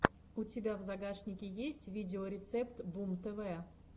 у тебя в загашнике есть видеорецепт бумтв